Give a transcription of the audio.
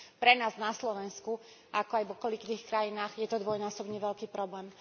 Pre nás na Slovensku, ako aj v okolitých krajinách, je to dvojnásobne veľký problém.